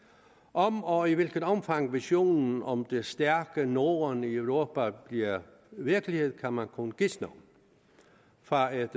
om og i hvilket omfang visionen om det stærke norden i europa bliver virkelighed kan man kun gisne om fra et